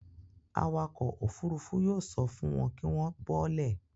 Awakọ̀ òfurufú yóò sọ fun wọn kí wọ́n bọ́ọ́lẹ̀.